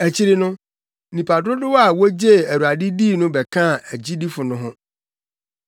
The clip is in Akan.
Akyiri no, nnipa dodow a wogyee Awurade dii no bɛkaa agyidifo no ho.